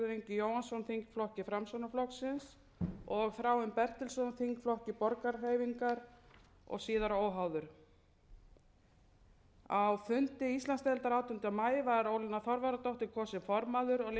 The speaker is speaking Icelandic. jóhannsson þingflokki framsóknarflokks og þráinn bertelsson þingflokki borgarahreyfingarinnar og síðar óháður á fundi íslandsdeildar átjánda maí var ólína þorvarðardóttir kosin formaður og lilja rafney magnúsdóttir